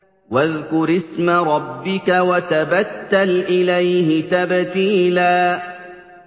وَاذْكُرِ اسْمَ رَبِّكَ وَتَبَتَّلْ إِلَيْهِ تَبْتِيلًا